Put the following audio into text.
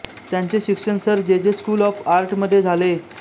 त्यांचे शिक्षण Sir J J school of art मध्ये झाले